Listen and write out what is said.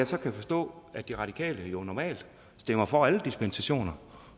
så forstå at de radikale jo normalt stemmer for alle dispensationer